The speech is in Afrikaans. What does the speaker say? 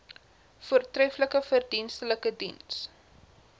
voortreflike verdienstelike diens